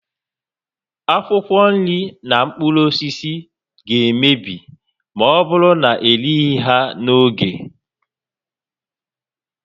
Akwụkwọ nri na mkpụrụ osisi ga-emebi ma ọ bụrụ na ereghị ha n'oge